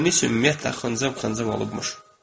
Boynu isə ümumiyyətlə xıncıv xıncıv olubmuş.